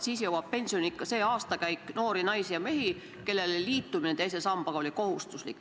Siis jõuab pensioniikka see aastakäik noori naisi ja mehi, kellele teise sambaga liitumine oli kohustuslik.